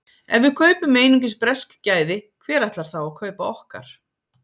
Ef við kaupum einungis bresk gæði, hver ætlar þá að kaupa okkar?